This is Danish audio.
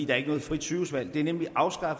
er ikke noget frit sygehusvalg det blev nemlig afskaffet